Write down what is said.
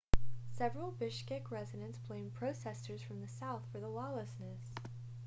several bishkek residents blamed protesters from the south for the lawlessness